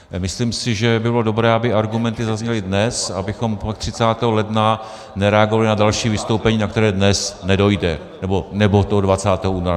Myslím si, že by bylo dobré, aby argumenty zazněly dnes, abychom pak 30. ledna nereagovali na další vystoupení, na které dnes nedojde, nebo toho 20. února.